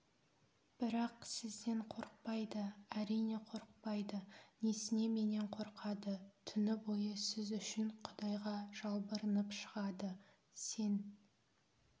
бірақ сізден қорықпайды әрине қорықпайды несіне менен қорқады түні бойы сіз үшін құдайға жалбарынып шығады сен